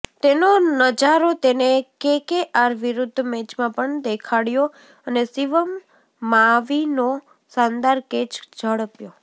તેનો નજારો તેને કેકેઆર વિરુદ્ધ મેચમાં પણ દેખાડ્યો અને શિવમ માવીનો શાનદાર કેચ ઝડપ્યો